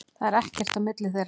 Það er ekkert á milli þeirra.